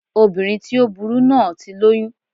Obìnrin tí ó burú náà ti lóyún